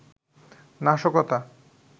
নাশকতা